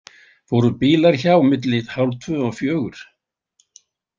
Fóru bílar hjá milli hálftvö og fjögur?